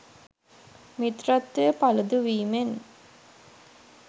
මිත්‍රත්වය පළුදු වීමෙන්